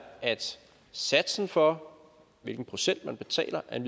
at satsen for hvilken procent man betaler af en